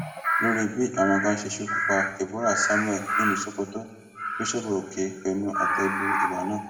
lórí bí àwọn kan ṣe ṣekú pa deborah samuel nílùú sokoto bíṣọọbù òkè bu ẹnu àtẹ lu ìwà náà